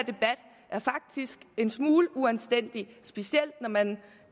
en smule uanstændig specielt når man